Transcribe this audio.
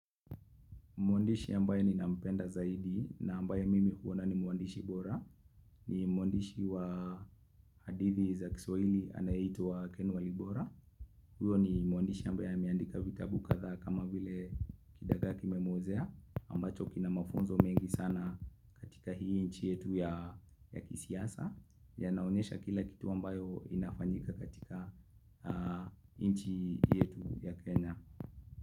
Mwandishi ambaye ninampenda zaidi na ambaye mimi huona ni mwandishi bora. Ni mwandishi wa hadithi za kiswalili anayeitwa Ken Walibora. Huyo ni mwandishi ambaye ameandika vitabu katha kama vile kidagaa kimemwozea. Ambacho kina mafunzo mengi sana. Katika hii nchi yetu ya kisiasa. Yanaonyesha kila kitu ambayo inafanyika katika nchi yetu ya Kenya.